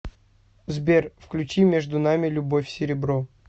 сбер включи между нами любовь серебро